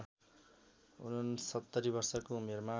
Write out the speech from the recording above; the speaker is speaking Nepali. ६९ वर्षको उमेरमा